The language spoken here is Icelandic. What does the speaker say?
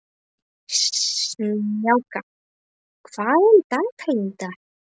Snjáka, hvað er í dagatalinu í dag?